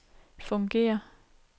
fungerer